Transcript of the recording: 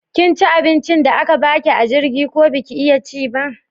Kinci abincin da aka baki a jirgin ko baki iya ci ba?